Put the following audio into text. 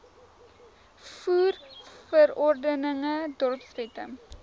voer verordeninge dorpswette